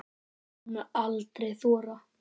Hún mundi aldrei þora.